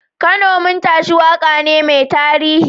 Kano Mun Tashi waka ne mai tarihi.